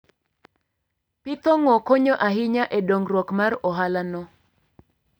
Pith ong'o konyo ahinya e dongruok mar ohalano.